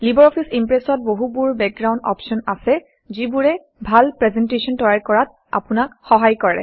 LibreOffice ইমপ্ৰেছত বহুবোৰ background option আছে যিবোৰে ভাল প্ৰেজেণ্টেশ্যন তৈয়াৰ কৰাত আপোনাক সহায় কৰে